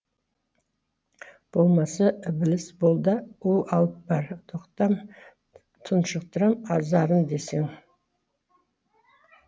болмаса ібіліс бол да у алып бар тоқтам тұншықтырам азарын десең